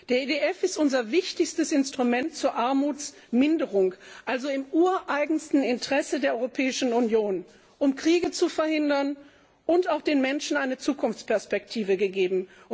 Der EDF ist unser wichtigstes Instrument zur Armutsminderung, also im ureigensten Interesse der Europäischen Union, um Kriege zu verhindern und auch den Menschen eine Zukunftsperspektive zu geben.